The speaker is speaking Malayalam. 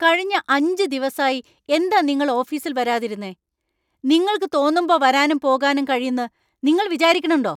കഴിഞ്ഞ അഞ്ച് ദിവസായി എന്താ നിങ്ങൾ ഓഫീസിൽ വരാതിരുന്നെ? നിങ്ങൾക്ക് തോന്നുമ്പോ വരാനും പോകാനും കഴിയുന്ന് നിങ്ങൾ വിചരിക്ക്ണ്‌ണ്ടോ?